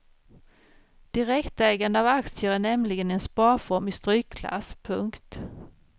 Direktägande av aktier är nämligen en sparform i strykklass. punkt